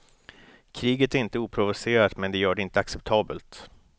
Kriget är inte oprovocerat, men det gör det inte acceptabelt.